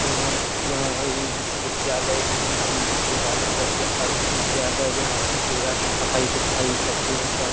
यहां यहां इ विश्वविद्यालय है इस विश्व-विश्वविद्यालय बहुत ही अच्छा विश्वविद्यालय यहां पे आके पढ़ाई-लिखाई सब चीज होता है।